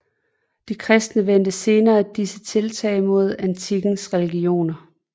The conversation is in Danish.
De kristne vendte senere disse tiltag mod antikkens religioner